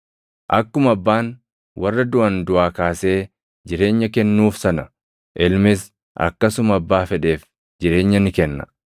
Akkuma Abbaan warra duʼan duʼaa kaasee jireenya kennuuf sana, Ilmis akkasuma abbaa fedheef jireenya ni kenna.